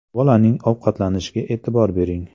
Bolaning ovqatlanishiga e’tibor bering.